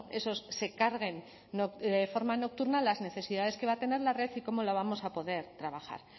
esos se carguen de forma nocturna las necesidades que va a tener la red y cómo la vamos a poder trabajar